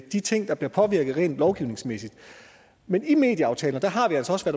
de ting der bliver påvirket rent lovgivningsmæssigt men i medieaftalen har vi altså også